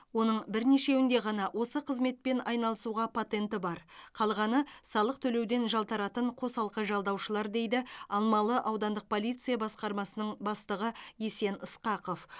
оның бірнешеуінде ғана осы қызметпен айналысуға патенті бар қалғаны салық төлеуден жалтаратын қосалқы жалдаушылар дейді алмалы аудандық полиция басқармасының бастығы есен ысқақов